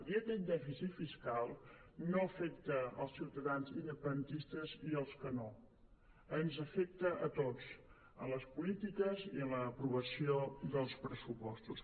i aquest dèficit fiscal no afecta els ciutadans independentistes i els que no ens afecta a tots en les polítiques i en l’aprovació dels pressupostos